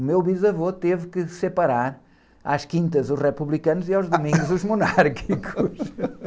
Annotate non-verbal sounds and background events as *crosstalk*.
o meu bisavô teve que separar às quintas os republicanos....h! *laughs* aos domingos os monárquicos. *laughs*